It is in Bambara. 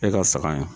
E ka saga ye